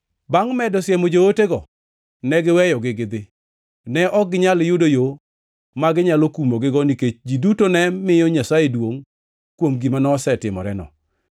Bangʼ medo siemo jootego, ne giweyogi gidhi. Ne ok ginyal yudo yo ma ginyalo kumogigo nikech ji duto ne miyo Nyasaye duongʼ kuom gima nosetimoreno,